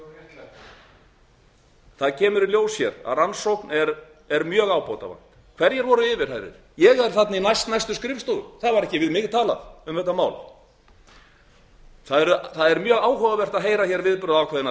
þingmenn réttlæti það kemur í ljós hér að rannsókn er mjög ábótavant hverjir voru yfirheyrðir ég er þarna í næstnæstu skrifstofu það var ekki við mig talað um þetta mál það er mjög áhugavert að heyra hér viðbrögð ákveðinna